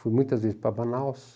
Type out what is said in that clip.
Fui muitas vezes para Manaus.